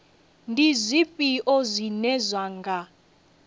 ndi zwifhio zwine zwa nga